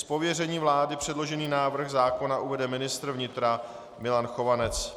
Z pověření vlády předložený návrh zákona uvede ministr vnitra Milan Chovanec.